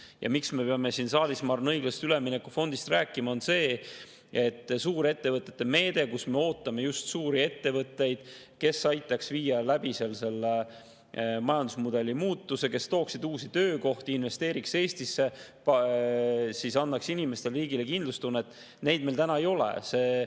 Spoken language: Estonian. Põhjus, miks me peame siin saalis, ma arvan, õiglase ülemineku fondist rääkima, on see, et suuri ettevõtteid, keda me ootame just suurettevõtete meedet, kes aitaks seal läbi viia majandusmudeli muutuse, kes tooksid uusi töökohti, investeeriks Eestisse, annaks inimestele ja riigile kindlustunnet, meil täna ei ole.